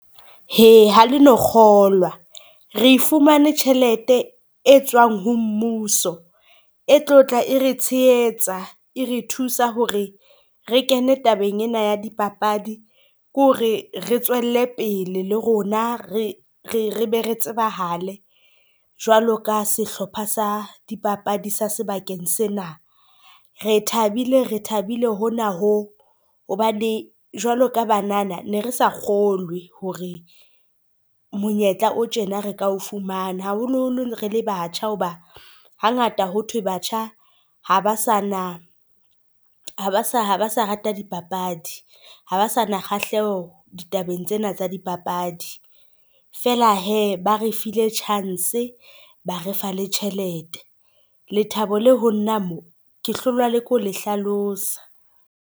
Hee ha leno kgolwa, re e fumane tjhelete e tswang ho mmuso e tlo tla e re tshehetsa e re thusa hore re kene tabeng ena ya dipapadi, ke hore re tswelle pele le rona, re re re be re tsebahale jwalo ka sehlopha sa dipapadi sa sebakeng sena. Re thabile re thabile hona ho, hobane jwalo ka banana ne re sa kgolwe hore monyetla o tjena re ka o fumana, haholoholo re le batjha hoba hangata ho thwe batjha ha ba sa na ha ba sa ha ba sa rata dipapadi. Ha ba sa na kgahleho ditabeng tsena tsa dipapadi, feela hee ba re file chance ba re fa le tjhelete lethabo le ho nna mo ke hlolwa le ke ho le hlalosa.